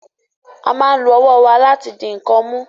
A máa ń lo ọwọ́ wa láti di nǹkan mú